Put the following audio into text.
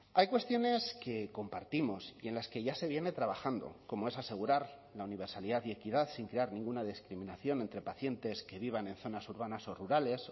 hay cuestiones que compartimos y en las que ya se viene trabajando como es asegurar la universalidad y equidad sin crear ninguna discriminación entre pacientes que vivan en zonas urbanas o rurales